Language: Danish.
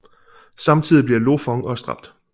Samtidig bliver Lo Fong også dræbt